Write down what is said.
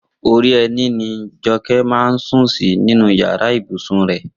Orí ẹní ni Jọkẹ́ ń sùn sí nínú yàrá ibùsùn rẹ̀